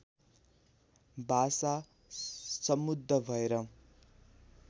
भाषा समुद्ध भएर